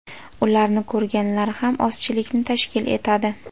Ularni ko‘rganlar ham ozchilikni tashkil etadi.